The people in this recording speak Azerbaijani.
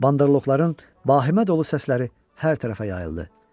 Bandırloqların bahimə dolu səsləri hər tərəfə yayıldı.